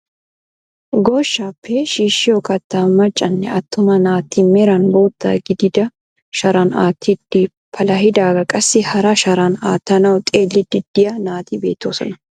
Goshshaappe shiishiyoo kaattaa maccanne attuma naati meeran bootta gidida sharan aattidi palahidaagaa qassi hara sharaan aattanawu xeelliidi de'iyaa naati beettoosona.